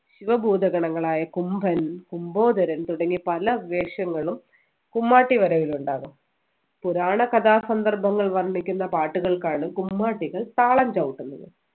ശിവഭൂതഗണങ്ങളായ കുംഭൻ കുംഭോദരൻ തുടങ്ങി പല വേഷങ്ങളും കുമ്മാട്ടി വരവിൽ ഉണ്ടാകും പുരാണ കഥാസന്ദർഭങ്ങൾ വർണ്ണിക്കുന്ന പാട്ടുകൾക്കാണ് കുമ്മാട്ടികൾ താളം ചവിട്ടുന്നത്